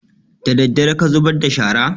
Daddare ka zubar da shara?